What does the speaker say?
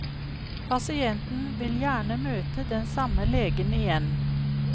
Pasienten vil gjerne møte den samme legen igjen.